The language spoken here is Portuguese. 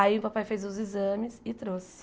Aí o papai fez os exames e trouxe.